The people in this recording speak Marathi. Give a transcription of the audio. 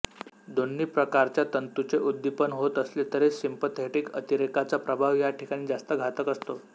दोन्ही प्रकारच्या तंतूचे उद्दीपन होत असले तरी सिंपथेटिक अतिरेकाचा प्रभाव या ठिकाणी जास्त घातक असतो